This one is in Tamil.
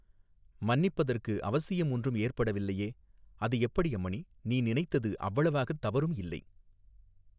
மன்னிப்பதற்கு அவசியம் ஒன்றும் ஏற்படவில்லையே அது எப்படி அம்மணி நீ நினைத்தது அவ்வளவாகத் தவறும் இல்லை.